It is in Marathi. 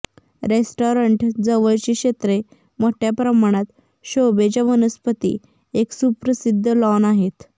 रेस्टॉरंट जवळची क्षेत्रे मोठ्या प्रमाणात शोभेच्या वनस्पती आणि एक सुप्रसिद्ध लॉन आहेत